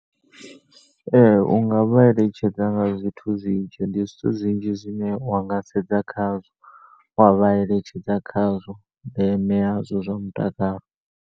Ee u nga vha eletshedza nga zwithu zwinzhi ndi zwithu zwinzhi zwine wanga sedza khazwo wavha eletshedza khazwo ndeme yazwo zwa mutakalo.